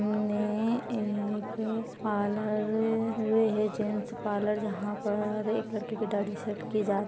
सामने एक पार्लर रहे जेंट्स पार्लर जहा पर एक लड़के की दाढ़ी सेट किये जा रही।